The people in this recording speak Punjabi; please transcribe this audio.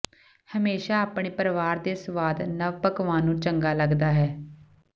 ਹਮੇਸ਼ਾ ਆਪਣੇ ਪਰਿਵਾਰ ਦੇ ਸਵਾਦ ਨਵ ਪਕਵਾਨ ਨੂੰ ਚੰਗਾ ਲੱਗਦਾ ਹੈ